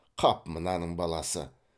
қап мынаның баласы